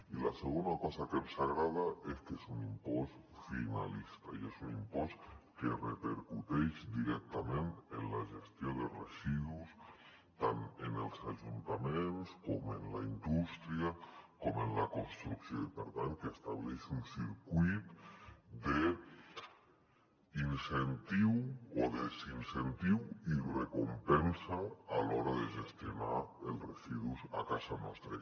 i la segona cosa que ens agrada és que és un impost finalista i és un impost que repercuteix directament en la gestió de residus tant en els ajuntaments com en la indústria com en la construcció i per tant que estableix un circuit d’incentiu o desincentiu i recompensa a l’hora de gestionar el residus a casa nostra